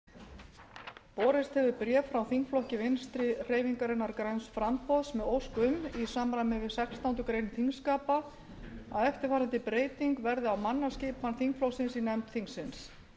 borist hefur bréf frá þingflokki vinstri hreyfingarinnar græns framboðs með ósk um í samræmi við sextándu grein þingskapa að eftirfarandi breyting verði á mannaskipan í nefnd þingsins